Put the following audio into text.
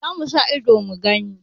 Za mu sa ido mu gani.